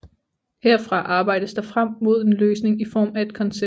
Herfra arbejdes der frem mod en løsning i form at et koncept